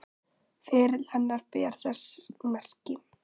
Ferill hennar ber þess merki.